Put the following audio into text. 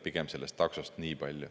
Niipalju sellest taksost.